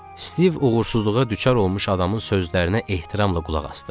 Stiv uğursuzluğa düçar olmuş adamın sözlərinə ehtiramla qulaq asdı.